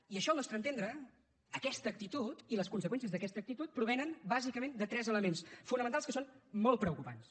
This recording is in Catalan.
i això al nostre entendre aquesta actitud i les conseqüències d’aquesta actitud provenen bàsicament de tres elements fonamentals que són molt preocupants